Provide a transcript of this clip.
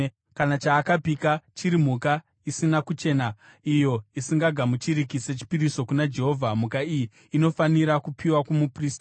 Kana chaakapika chiri mhuka isina kuchena, iyo isingagamuchiriki sechipiriso kuna Jehovha, mhuka iyi inofanira kupiwa kumuprista,